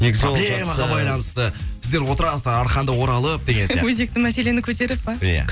сіздер отырасыздар арқанды оралып деген сияқты өзекті мәселені көтеріп пе иә